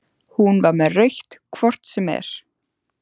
Hún var með rautt hvort sem er.